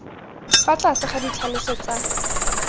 fa tlase ga ditlhaloso tsa